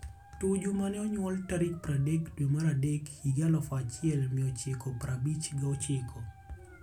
Tuju mne onyuol tarik pradek dwe mar adek hik eluf achiel mia ochiko prabich gochiko.